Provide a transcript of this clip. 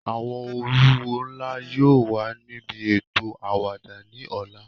Awọn oluwo nla yóò wa nibi eto awada ni ọla.